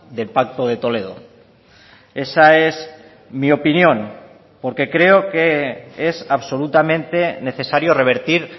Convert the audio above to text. del pacto de toledo esa es mi opinión porque creo que es absolutamente necesario revertir